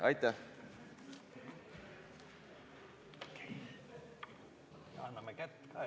Aitäh!